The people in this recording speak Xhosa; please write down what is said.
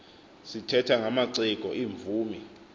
sithetha ngamaciko iimvumi